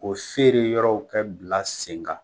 Ko feere yɔrɔw kɛ bila sen kan.